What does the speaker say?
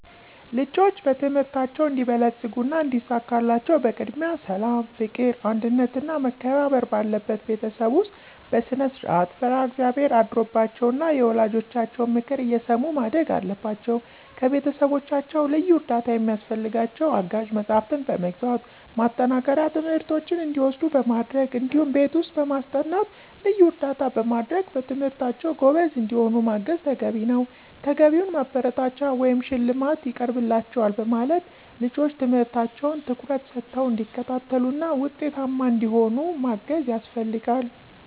ልጆች በትምህርታቸው እንዲበለጽጉና እንዲሳካላቸው በቅድሚያ ሠላም፣ ፍቅር፣ አንድነትና መከባበር ባለበት ቤተሰብ ውስጥ በስነስርዓት፣ ፈሪሀ እግዚአብሔር አድሮባቸው ና የወላጆቻቸውን ምክር እየሰሙ ማደግ አለባቸው። ከቤተሰቦቻቸው ልዩ እርዳታ ሚያስፈልጋቸው አጋዥ መጽሐፍትን በመግዛት፣ ማጠናከሪያ ትምህርቶችን እንዲወስዱ በማድረግ እዲሁም ቤት ውስጥ በማስጠናት ልዩ እርዳታ በማድረግ በትምህርታቸው ጎበዝ እንዲሆኑ ማገዝ ተገቢ ነዉ። ተገቢውን ማበረታቻ ወይም ሽልማት ይቀርብላችኋል በማለት ልጆች ትምህርታቸውን ትኩረት ሰተው እንዲከታተሉና ውጤታማ እንዲሆኑ ማገዝ ያስፈልጋል።